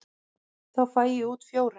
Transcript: Þá fæ ég út fjóra.